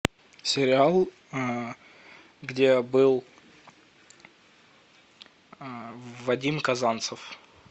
сериал где был вадим казанцев